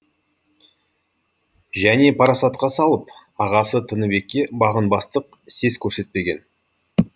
және парасатқа салып ағасы тыныбекке бағынбастық сес көрсетпеген